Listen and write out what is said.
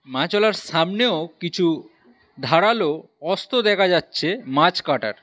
মাছওয়ালার সামনেও কিছু ধারালো অস্ত্র দেখা যাচ্ছে মাছ কাটার।